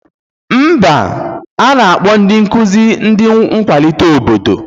Mba, a na-akpọ ndị nkụzi ndị na-akwalite obodo